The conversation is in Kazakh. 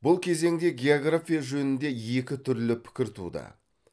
бұл кезеңде география жөнінде екі түрлі пікір туды